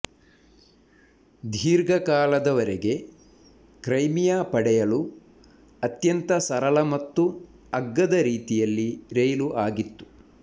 ದೀರ್ಘಕಾಲದವರೆಗೆ ಕ್ರೈಮಿಯಾ ಪಡೆಯಲು ಅತ್ಯಂತ ಸರಳ ಮತ್ತು ಅಗ್ಗದ ರೀತಿಯಲ್ಲಿ ರೈಲು ಆಗಿತ್ತು